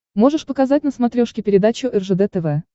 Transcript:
можешь показать на смотрешке передачу ржд тв